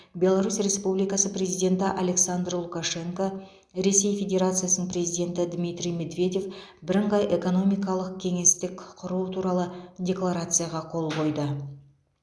беларусь республикасы президенті александр лукашенко ресей федерациясының президенті дмитрий медведев бірыңғай экономикалық кеңестік құру туралы декларацияға қол қойды